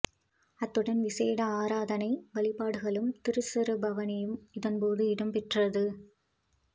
அத்துடன் விசேட ஆராதனை வழிபாடுகளும் திருச்சொரூப பவனியும் இதன்போது இடம்பெற்றது